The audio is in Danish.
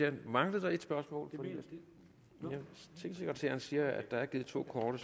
anden mangler der et spørgsmål tingsekretæren siger at der er givet to korte